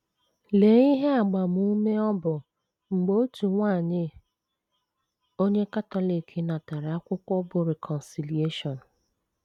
Lee ihe agbamume ọ bụ mgbe otu nwanyị onye Katọlik natara akwụkwọ bụ́ Reconciliaton!